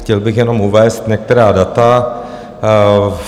Chtěl bych jenom uvést některá data.